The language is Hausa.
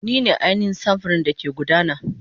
Ni ne ainihin samfurin da ke gudana.